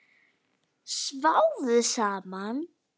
Sváfu saman?